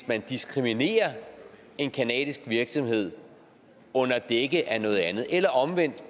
man diskriminerer en canadisk virksomhed under dække af noget andet eller omvendt